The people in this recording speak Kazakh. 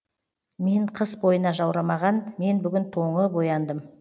мен қыс бойына жаурамаған мен бүгін тоңып ояндым